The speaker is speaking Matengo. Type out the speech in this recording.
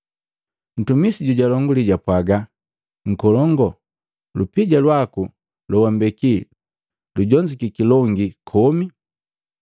Ntumisi jojalonguli, japwaaga ‘Nkolongu, lupija lwaku lowambeki lujonzukiki longi komi.’